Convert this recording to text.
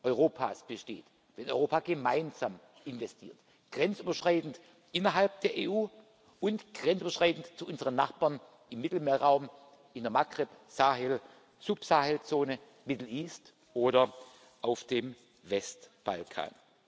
Europas besteht, wenn Europa gemeinsam investiert, grenzüberschreitend innerhalb der EU und grenzüberschreitend zu unseren Nachbarn im Mittelmeerraum, in der Maghreb Sahel Subsahelzone, Middle East oder auf dem Westbalkan.